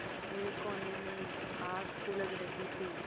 एक कोने में आग सुलग रही थी